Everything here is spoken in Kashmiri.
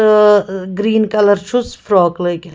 تہۭ گریٖن کلر .چُھس فِراق لٲگِتھ